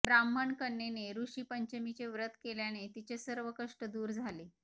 ब्राह्मण कन्येने ऋषी पंचमीचे व्रत केल्याने तिचे सर्व कष्ट दूर झाले